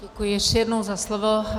Děkuji ještě jednou za slovo.